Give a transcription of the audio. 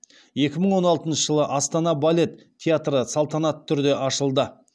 екі мың он алтыншы жылы астана балет театры салтанатты түрде ашылды